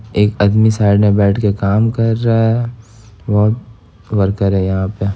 एक आदमी साइड में बैठ कर काम कर रहा और वर्कर है यहां पे--